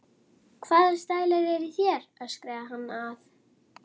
Hvaða stælar eru í þér? öskraði hann að